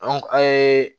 an ye